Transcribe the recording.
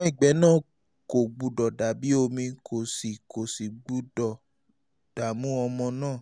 ṣùgbọ́n ìgbẹ́ náà kò gbọ́dọ̀ dàbí omi kò sì kò sì gbọ́dọ̀ dààmú ọmọ náà